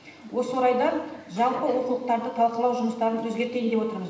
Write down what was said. осы орайда жалпы оқулықтарды талқылау жұмыстарын өзгертейін деп отырмыз